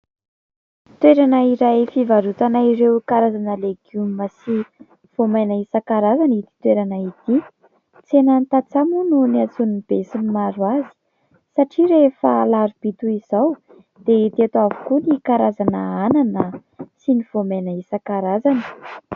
Toerana iray fivarotana ireo karazana legioma sy voamaina isan-karazany ity toerana ity. Tsena ny tantsaha moa niantson'ny besinimaro azy satria rehefa alarobia toy izao dia hita eto avokoa ny karazana anana sy ny voamaina isan-karazany.